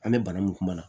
An bɛ bana mun kuma na